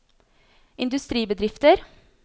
industribedrifter